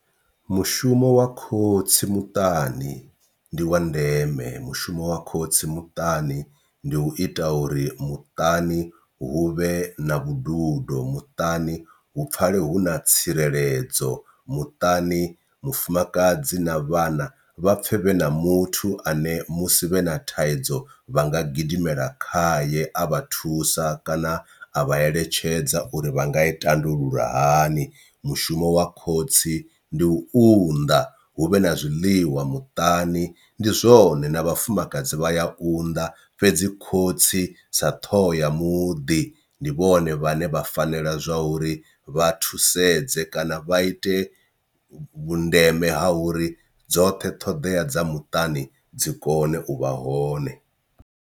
Mushumo wa khotsi muṱani ndi wa ndeme mushumo wa khotsi muṱani ndi u ita uri muṱani huvhe na vhududo, muṱani hu pfale huna tsireledzo, muṱani mufumakadzi na vhana vhapfe vhe na muthu ane musi vhe na thaidzo vha nga gidimela khaye a vha thusa kana a vha eletshedza uri vha nga i tandulula hani. Mushumo wa khotsi ndi u unḓa hu vhe na zwiḽiwa muṱani ndi zwone na vhafumakadzi vha ya unḓa, fhedzi khotsi sa ṱhoho ya muḓi ndi vhone vhaṋe vha fanela zwa uri vha thusedze kana vha ite vhundeme ha uri dzoṱhe ṱhoḓea dza muṱani dzi kone u vha hone.